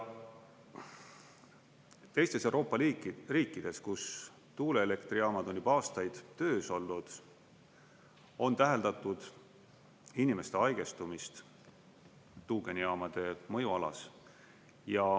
Teistes Euroopa riikides, kus tuuleelektrijaamad on juba aastaid töös olnud, on täheldatud inimeste haigestumist tuugenijaamade mõjualas.